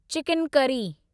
chicken curry